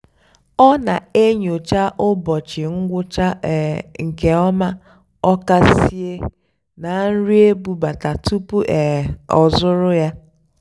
ọ́ nà-ènyócha ụ́bọ̀chị́ ngwụ́chá um nkè ọ́má ọ́kàsìé nà nrì ébúbátá túpú um ọ́ zụ́rụ́ yá.